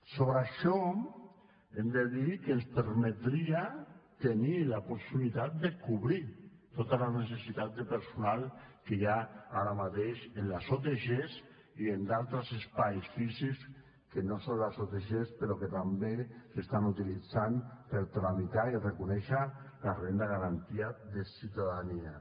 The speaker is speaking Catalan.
sobre això hem de dir que ens permetria tenir la possibilitat de cobrir totes les necessitats de personal que hi ha ara mateix en les otg i en altres espais físics que no són les otg però que també s’estan utilitzant per tramitar i reconèixer la renda garantida de ciutadania